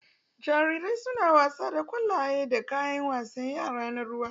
Jarirai suna wasa da ƙwallaye da kayan wasan yara na ruwa